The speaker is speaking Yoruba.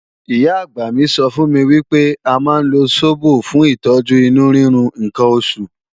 Ìyá-àgbà mi sọ fún mi wípé a máa ń lo sóbò fún ìtọ́jú inú rírun ǹkan oṣù